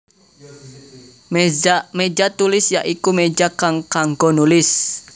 Méja Tulis ya iku méja kang kanggo nulis